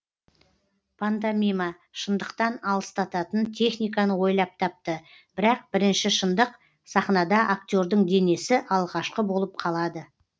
пантомима шындықтан алыстататын техниканы ойлап тапты бірақ бірінші шындық сахнада актердың денесі алғашқы болып қалады